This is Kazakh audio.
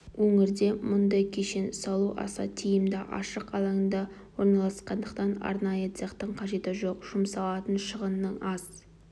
өңірде мұндай кешен салу аса тиімді ашық алаңда орналасқандықтан арнайы цехтың қажеті жоқ жұмсалатын шығынның аз